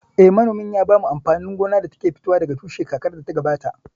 Eh, manomin ya shuka amfanin gona da ke fitowa daga tushe kakar da ta gabata